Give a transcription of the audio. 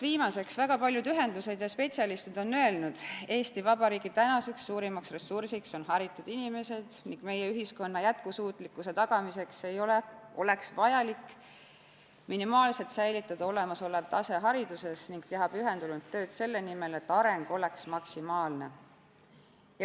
Viimaseks, väga paljud ühendused ja spetsialistid on öelnud: Eesti Vabariigi tänaseks suurimaks ressursiks on haritud inimesed, meie ühiskonna jätkusuutlikkuse tagamiseks oleks vajalik minimaalselt säilitada olemasolev tase hariduses ning teha pühendunult tööd selle nimel, et areng oleks maksimaalne.